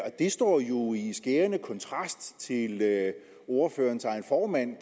og det står jo i skærende kontrast til det ordførerens egen formand